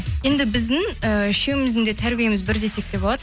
енді біздің э үшеуміздің де тәрбиеміз бір десек те болады